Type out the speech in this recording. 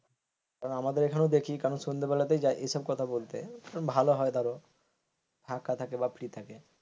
কারণ আমাদের এখানেও দেখি সন্ধ্যা বেলাতেই যা এসব কথা বলতে ভালো হয় তারও ফাঁকা থাকে বা ফ্রি থাকে।